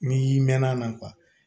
N'i mɛnna a na